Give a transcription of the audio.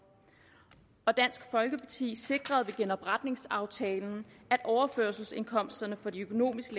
og dansk folkeparti sikrede ved genopretningsaftalen at overførselsindkomsterne for de økonomisk